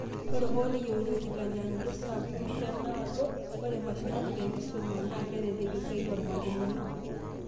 Ata hoo neyeuni enkitanyanyukoto sapuk tena alo, ore mashinini te enkisuma, na ketelelek esiaai oormalimuni